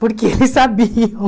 Porque eles sabiam.